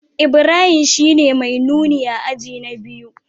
Ibrahim shine mai nuni a aji na biyu